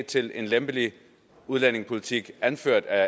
til en lempelig udlændingepolitik anført af